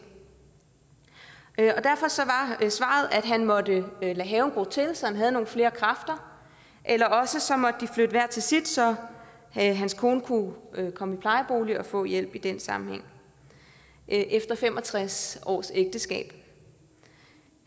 derfor var svaret at han måtte lade haven gro til så han havde nogle flere kræfter eller også så måtte de flytte hver til sit så hans kone kunne komme i plejebolig og få hjælp i den sammenhæng efter fem og tres års ægteskab